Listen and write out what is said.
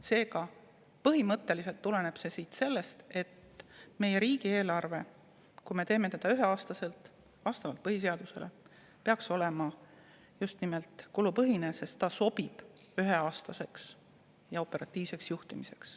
Seega, põhimõtteliselt tuleneb siit see, et meie riigieelarve, kui me teeme selle üheks aastaks, lähtudes põhiseadusest, peaks olema just nimelt kulupõhine, sest selline sobib üheaastaseks ja operatiivseks juhtimiseks.